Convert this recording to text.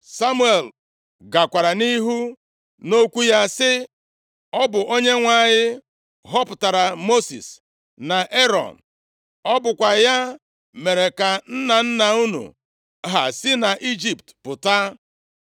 Samuel gakwara nʼihu nʼokwu ya sị, “Ọ bụ Onyenwe anyị họpụtara Mosis na Erọn. Ọ bụkwa ya mere ka nna nna unu ha si nʼIjipt pụta.